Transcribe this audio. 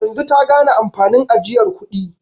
Yanzu ta gane amfanin ajiyar kudi.